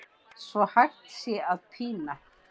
svo hægt sé að pína